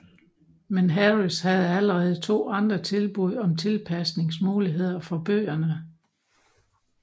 Men Harris havde allerede to andre tilbud om tilpasnings muligheder for bøgerne